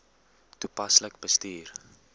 toepaslik bestuur